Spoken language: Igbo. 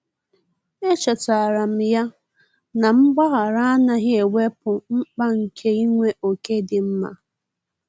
Echetara m ya na mgbaghara anaghị ewepụ mkpa nke inwe ókè dị mma.